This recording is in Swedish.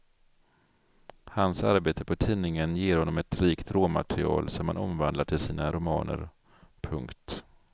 Hans arbete på tidningen ger honom ett rikt råmaterial som han omvandlar till sina romaner. punkt